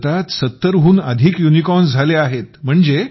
आज भारतात 70 हून अधिक युनिकॉर्न्स झाले आहेत